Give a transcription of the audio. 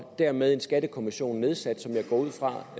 er med en skattekommission nedsat som jeg går ud fra